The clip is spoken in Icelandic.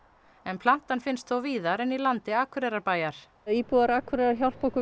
plantan finnst þó víðar en í landi Akureyrarbæjar íbúar Akureyrar hjálpi okkur